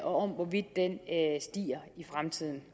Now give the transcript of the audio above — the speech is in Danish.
og af hvorvidt den stiger i fremtiden